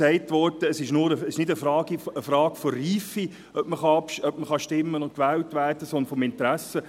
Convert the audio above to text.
Es wurde gesagt, abstimmen und gewählt werden zu können, sei keine Frage der Reife, sondern des Interesses.